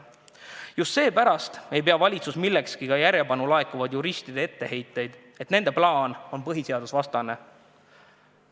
Just seepärast ei pea valitsus millekski ka järjepanu laekuvaid juristide etteheiteid, mille kohaselt valitsuse plaan on põhiseadusvastane.